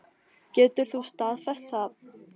Getur þú staðfest það?